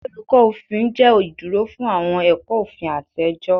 Olukọ Ofin jẹ iduro fun awọn ẹkọ ofin ati ẹjọ